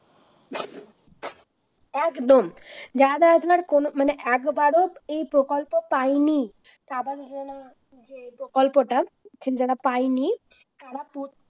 একদম যারা যারা আপনার কোন মানে একবারও এই প্রকল্প পায়নি তারা নিজেরা প্রকল্পটা যারা পায়নি তারা